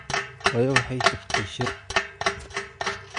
Hooyo waxay tagtay shir